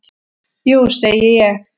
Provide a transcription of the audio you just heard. Jú segi ég.